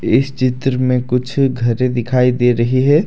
इस चित्र मे कुछ घरे दिखाई दे रही है।